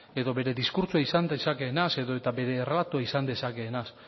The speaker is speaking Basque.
edo bere diskurtsoa izan dezakeenaz edota bere izan dezakeenaz